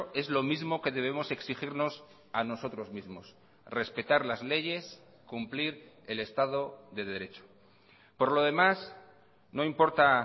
es lo mismo que debemos exigirnos a nosotros mismos respetar las leyes cumplir el estado de derecho por lo demás no importa